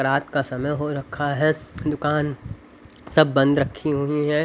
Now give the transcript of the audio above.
रात का समय हो रखा है दुकान सब बंद रखी हुई है.